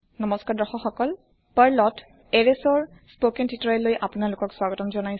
নমস্কাৰ দৰ্শক সকল পাৰ্লত এৰেচৰ স্পকেন তুতৰিয়াললৈ আপোনালোকক স্বাগতম